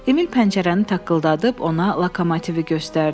Emil pəncərəni taqqıldadıb ona lokomotivi göstərdi.